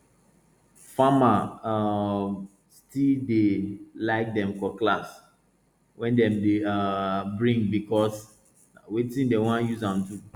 farmer um still dey like dem cutlass wey dem dey um bring because na wetin dem wan use am do